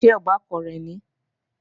Ṣé ọbàkan rẹ̀ nìí?